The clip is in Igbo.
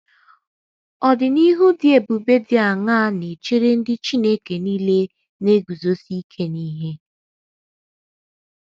Ọdịnihu dị ebube dị aṅaa na - echere ndị Chineke nile na - eguzosi ike n’ihe?